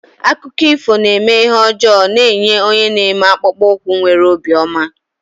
Akụkọ ifo na-eme ihe ọjọọ na-enye onye na-eme akpụkpọ ụkwụ nwere obi ọma.